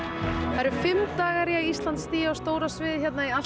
eru fimm dagar í að Ísland stígi á stóra sviðið hérna í